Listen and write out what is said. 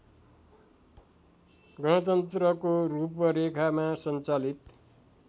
गणतन्त्रको रूपरेखामा सञ्चालित